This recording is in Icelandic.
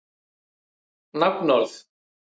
Arisa, hvað er á dagatalinu mínu í dag?